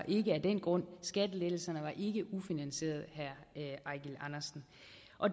ikke af den grund skattelettelserne var ikke ufinansierede herre eigil andersen